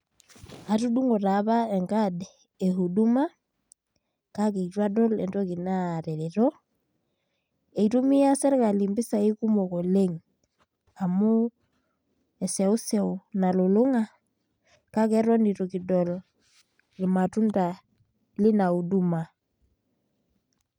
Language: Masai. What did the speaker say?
Atudung'o taapa enkad e huduma, kake itu adol entoki natareto, eitumia serkali impisai kumok oleng, amu eseuseu nalulung'a, kake eton itu kidol irmatunda lina huduma.